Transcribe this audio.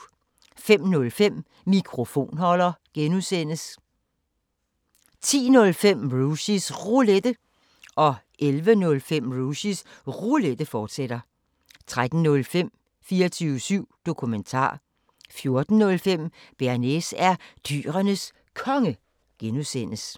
05:05: Mikrofonholder (G) 10:05: Rushys Roulette 11:05: Rushys Roulette, fortsat 13:05: 24syv Dokumentar 14:05: Bearnaise er Dyrenes Konge (G)